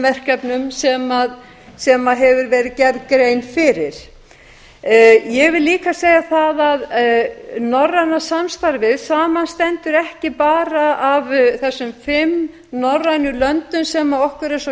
verkefnum sem grein hefur verið gerð fyrir ég vil líka segja að norræna samstarfið samanstendur ekki bara af þessum fimm norrænu löndum sem okkur er svo